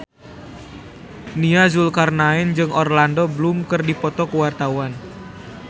Nia Zulkarnaen jeung Orlando Bloom keur dipoto ku wartawan